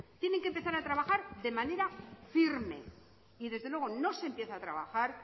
tienen que empezar a trabajar de manera firme y desde luego no se empieza a trabajar